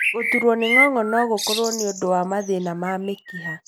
Gũtuurwo nĩ ng'ong'o no gũkorwo nĩ ũndũ wa mathĩna ma mĩkiha.